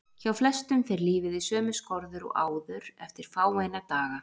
Hjá flestum fer lífið í sömu skorður og áður eftir fáeina daga.